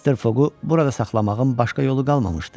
Mr. Foqqu burada saxlamağın başqa yolu qalmamışdı.